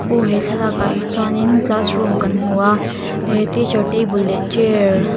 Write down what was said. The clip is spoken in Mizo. aw he thlalakah hi chuanin classroom kan hmu a eh teacher table leh chair --